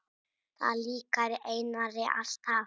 Það líkaði Einari alltaf.